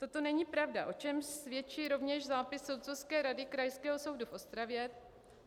Toto není pravda, o čemž svědčí rovněž zápis soudcovské rady Krajského soudu v Ostravě.